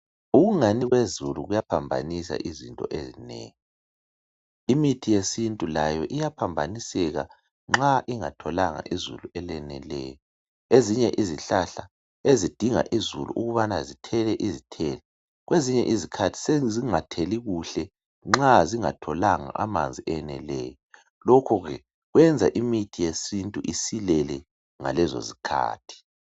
Ukungani kwezulu kuyaphambanisa izinto ezinengi imithi yesintu layo iyaphambaniseka nxa ingatholanga izulu eleneleyo ezinye izihlahla ezidinga izulu ukubana zithele izithelo kwezinye izikhathi sezingatheli kuhle nxa zingatholi amanzi eneleyo lokhu ke kwenza imithi yesintu isilele ngalez zikhathi.